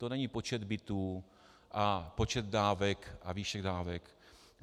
To není počet bytů a počet dávek a výše dávek.